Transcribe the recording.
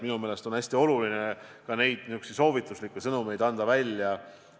Minu meelest on hästi oluline ka niisuguseid soovituslikke sõnumeid välja anda.